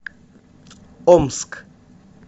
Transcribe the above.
омск